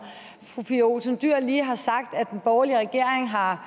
fru pia olsen dyhr lige har sagt at den borgerlige regering har